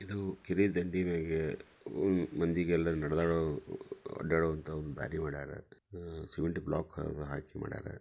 ಇದು ಕೆರಿ ದಂಡಿ ಮ್ಯಾಗೆ ಊರ್ ಮಂದಿಗೆಲ್ಲ ನಡೆದಾಡೋ ಅಡ್ಡಾಡೋ ಅಂತ ಒಂದು ದಾರಿ ಮಾಡ್ಯಾರ ಅಹ್ ಸಿಮೆಂಟ್ ಬ್ಲೋಕ್ ಹಾ-ಹಾಕಿ ಮಾಡ್ಯಾರ.